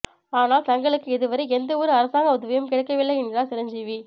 ஆனால் தங்களுக்கு இதுவரை எந்த ஒரு அரசாங்க உதவியும் கிடைக்கவில்லை என்கிறார் சிரஞ்சீவி